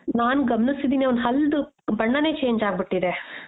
ನಾನ್ ಗಮನಿಸಿದ್ದೀನಿ ಅವ್ನ್ ಹಲ್ದು ಬಣ್ಣಾನೇ change ಆಗ್ಬಿಟ್ಟಿದೆ .